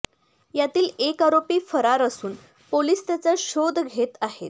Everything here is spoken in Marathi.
यातील एक आरोपी फरार असून पोलीस त्याचा शोध घेत आहे